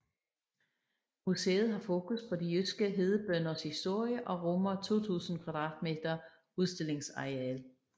Museet har fokus på de jyske hedebønders historie og rummer 2000 m2 udstillingsareal